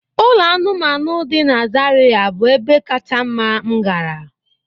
Ụlọ anụmanụ dị na Zariya bụ ebe kacha mma m gara.